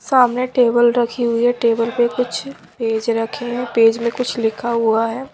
सामने टेबल रखी हुई है टेबल पे कुछ पेज रखे हैं पेज में कुछ लिखा हुआ है।